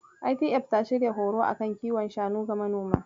ITF ta shirya horo a kan kiwon shanu ga manoma.